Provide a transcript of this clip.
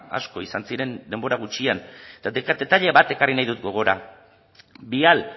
asko izan ziren denbora gutxian eta detaile bat ekarri nahi dut gogora vial